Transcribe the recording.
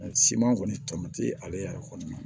Siman kɔni tɔme ale yɛrɛ kɔni na